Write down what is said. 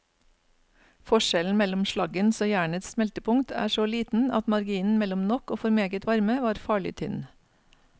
Forskjellen mellom slaggens og jernets smeltepunkt er så liten at marginen mellom nok og for meget varme var farlig tynn.